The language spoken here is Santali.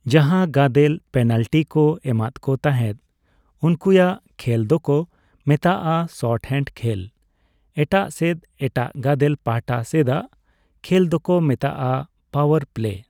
ᱡᱟᱦᱟᱸ ᱜᱟᱫᱮᱞ ᱯᱮᱱᱟᱞᱴᱤ ᱠᱚ ᱮᱢᱟᱫ ᱠᱚ ᱛᱟᱦᱮᱸᱫ ᱩᱱᱠᱩᱭᱟᱜ ᱠᱷᱮᱞ ᱫᱚᱠᱚ ᱢᱮᱛᱟᱜᱼᱟ ᱥᱚᱨᱴᱼᱦᱮᱱᱰ ᱠᱷᱮᱞ, ᱮᱴᱟᱜ ᱥᱮᱫ ᱮᱴᱟᱜ ᱜᱟᱫᱮᱞ ᱯᱟᱦᱴᱟ ᱥᱮᱫᱼᱟᱜ ᱠᱷᱮᱞ ᱫᱚᱠᱚ ᱢᱮᱛᱟᱜᱼᱟ ᱯᱟᱣᱟᱨ ᱯᱞᱮᱹ ᱾